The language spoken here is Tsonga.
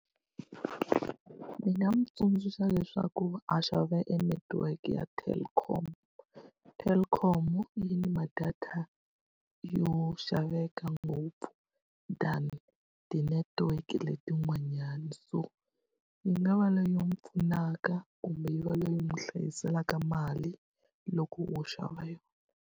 Ndzi nga n'wi tsundzuxa leswaku a xava e netiweke ya Telkom. Telkom yi ni ma-data yo xaveka ngopfu ku than ti-network-e letin'wanyana. So yi nga va leyi pfunaka kumbe yi va leyi n'wi hlayiselaka mali loko wo xava yona.